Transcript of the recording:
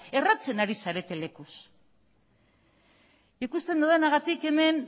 erratzen ari zarete lekuz ikusten dudanagatik hemen